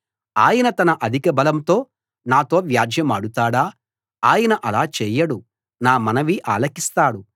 ఆయన తన అధికబలంతో నాతో వ్యాజ్యెమాడుతాడా ఆయన అలా చేయడు నా మనవి ఆలకిస్తాడు